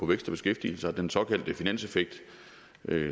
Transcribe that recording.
vækst og beskæftigelse og den såkaldte finanseffekt